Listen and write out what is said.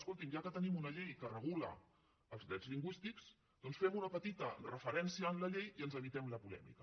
escoltin ja que tenim una llei que regula els drets lingüístics doncs fem·hi una petita referència en la llei i ens evitem la polèmica